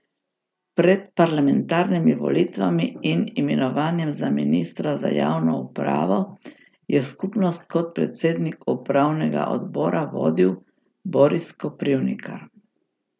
Pred parlamentarnimi volitvami in imenovanjem za ministra za javno upravo je skupnost kot predsednik upravnega odbora vodil Boris Koprivnikar.